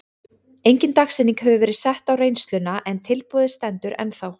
Engin dagsetning hefur verið sett á reynsluna en tilboðið stendur ennþá.